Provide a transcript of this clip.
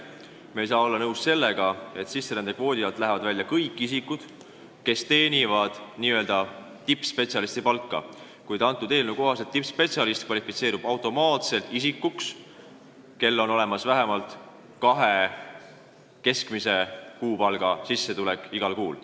Me ei saa olla nõus sellega, et sisserändekvoodi alt lähevad välja kõik isikud, kes teenivad n-ö tippspetsialisti palka, sest eelnõu kohaselt kvalifitseerub tippspetsialistiks automaatselt iga isik, kel on olemas vähemalt kahe keskmise kuupalga suurune sissetulek igal kuul.